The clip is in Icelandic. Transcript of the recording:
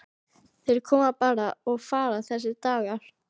Þeir koma bara og fara þessir dagar.